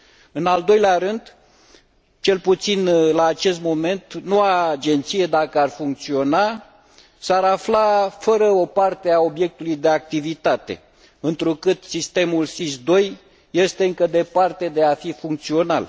În al doilea rând, cel puțin la acest moment, noua agenție, dacă ar funcționa, s ar afla fără o parte a obiectului de activitate, întrucât Sistemul SIS II este încă departe de a fi funcțional.